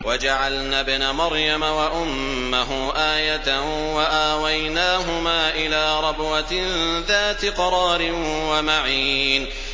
وَجَعَلْنَا ابْنَ مَرْيَمَ وَأُمَّهُ آيَةً وَآوَيْنَاهُمَا إِلَىٰ رَبْوَةٍ ذَاتِ قَرَارٍ وَمَعِينٍ